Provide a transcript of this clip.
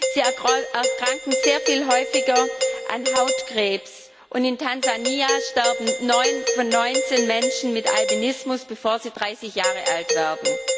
Sie erkranken sehr viel häufiger an Hautkrebs, und in Tansania sterben 9 von 19 Menschen mit Albinismus, bevor sie 30 Jahre alt werden.